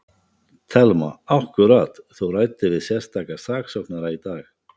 Telma: Akkúrat, þú ræddir við sérstaka saksóknara í dag?